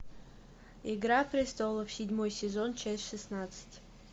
игра престолов седьмой сезон часть шестнадцать